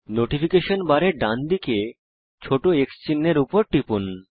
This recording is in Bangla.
নোটিফিকেশন বারের ডানদিকে ছোট X চিহ্ন এর উপর টিপুন